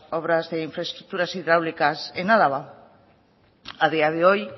obras de infraestructura hidráulicas en álava a día de hoy